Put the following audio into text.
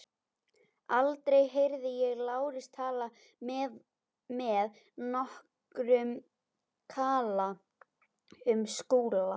Aldrei heyrði ég Lárus tala með nokkrum kala um Skúla.